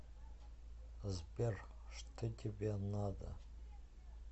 сбер что тебе надо